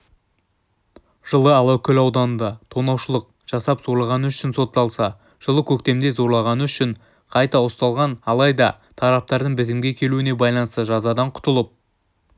жылы алакөл ауданында тонаушылық жасап зорлағаны үшін сотталса жылы көктемде зорлағаны үшін қайта ұсталған алайда тараптардың бітімге келуіне байланысты жазадан құтылып